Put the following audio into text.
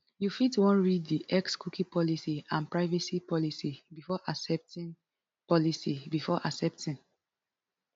you fit wan read di xcookie policyandprivacy policybefore accepting policybefore accepting